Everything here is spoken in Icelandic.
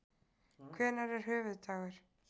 Hvenær er höfuðdagur?